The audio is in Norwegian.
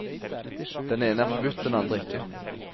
Den ene er forbudt, den andre ikke.